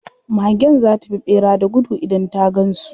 Magen za ta bi ɓera da gudu idan ta gan su.